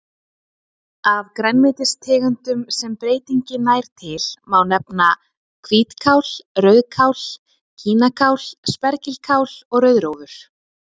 Af grænmetistegundum sem breytingin nær til má nefna hvítkál, rauðkál, kínakál, spergilkál og rauðrófur.